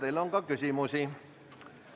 Teile on ka küsimusi.